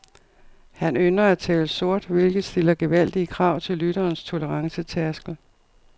Han ynder at tale sort, hvilket stiller gevaldige krav til lytterens tolerancetærskel.